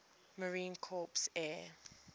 marine corps air